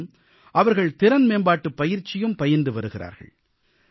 மேலும் அவர்கள் திறன் மேம்பாட்டுப் பயிற்சியும் பயின்று வருகிறார்கள்